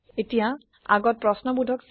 এতিয়া আগত প্ৰশ্ন বোধক চিন